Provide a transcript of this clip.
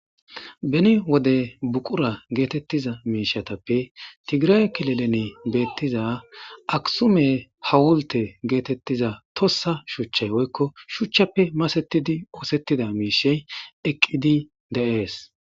beni wode buqura geetettiza miishatappe tigiraye kilelene beettiza aksume hawulte geetettiza tossa shuchchay oykko shuchchappe masettidi oosettida miishey eqqidi de'ees